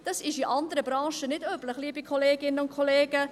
Dies ist in anderen Branchen nicht üblich, liebe Kolleginnen und Kollegen.